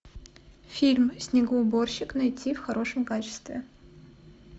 фильм снегоуборщик найти в хорошем качестве